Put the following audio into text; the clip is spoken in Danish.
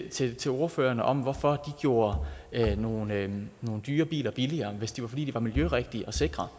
til til ordførerne om hvorfor de gjorde nogle dyre biler billigere hvis det var fordi de var miljørigtige og sikre